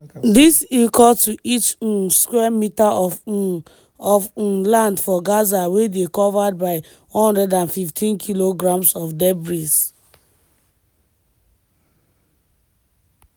dis equal to each um square meter of um of um land for gaza wey dey covered by 115 kilograms of debris.